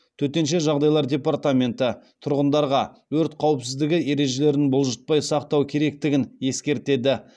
төтенше жағдайлар департаменті тұрғындарға өрт қауіпсіздігі ережелерін бұлжытпай сақтау керектігін ескертеді